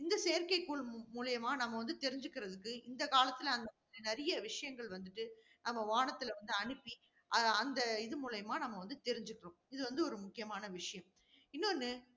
இந்த செயற்கைக்கோள் மூலியமா நம்ம வந்து தெரிஞ்சுக்கிறதுக்கு, இந்த காலத்தில நிறைய விஷயங்கள் வந்துட்டு, நம்ம வானத்தில வந்து அனுப்பி. அஹ் அந்த இது மூலியமா நம்ம வந்து தெரிஞ்சுக்கிறோம். இது வந்து ஒரு முக்கியமான விஷயம். இன்னொன்னு